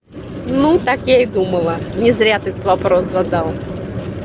ну так я и думала не зря ты этот вопрос задал